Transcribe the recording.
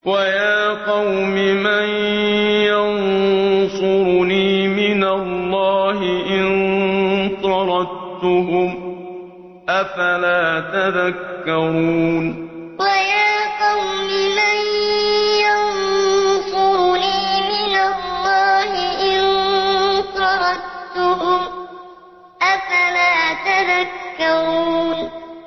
وَيَا قَوْمِ مَن يَنصُرُنِي مِنَ اللَّهِ إِن طَرَدتُّهُمْ ۚ أَفَلَا تَذَكَّرُونَ وَيَا قَوْمِ مَن يَنصُرُنِي مِنَ اللَّهِ إِن طَرَدتُّهُمْ ۚ أَفَلَا تَذَكَّرُونَ